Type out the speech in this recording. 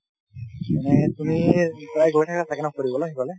মানে তুমি প্ৰায় গৈ থাকা চাগে ন ফুৰিবলৈ গৈলে